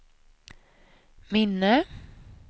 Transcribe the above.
minne